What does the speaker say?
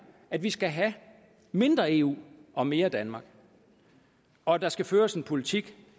at vi skal have mindre eu og mere danmark og der skal føres en politik